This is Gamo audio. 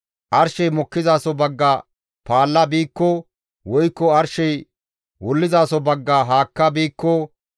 Arshey mokkizaso bagga paalla biikko, woykko arshey wullizaso bagga haakka biikko,